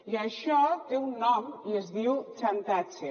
i això té un nom i es diu xantatge